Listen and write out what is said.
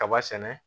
Kaba sɛnɛ